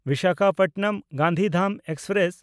ᱵᱤᱥᱟᱠᱷᱟᱯᱚᱴᱱᱚᱢ–ᱜᱟᱱᱫᱷᱤᱫᱷᱟᱢ express